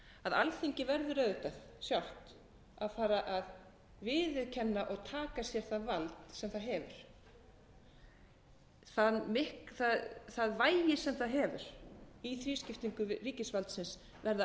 að alþingi verður auðvitað sjálft að fara að viðurkenna og taka sér það vald sem það hefur það vægi sem það hefur í þrískiptingu ríkisvaldsins verða